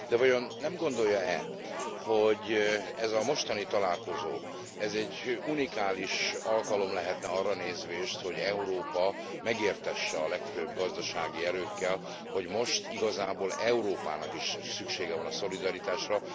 De vajon nem gondolja e, hogy ez a mostani találkozó, ez egy unikális alkalom lehetne arra nézvést, hogy Európa megértesse a legfőbb gazdasági erőkkel, hogy most igazából Európának is szüksége van a szolidaritásra.